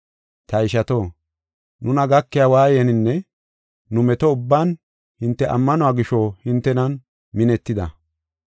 Ta ishato, nuna gakiya waayaninne nu meto ubban hinte ammanuwa gisho hintenan minetida.